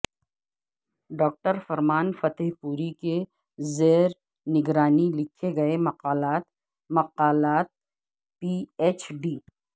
doctor Farman Fatehpuri پوری کے زیرنگرانی لکھے گئے مقالات مقالات پی ایچ ڈی